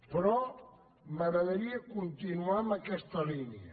però m’agradaria continuar en aquesta línia